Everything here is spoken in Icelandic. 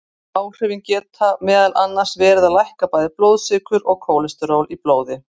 Áhrifin geta meðal annars verið að lækka bæði blóðsykur og kólesteról í blóði.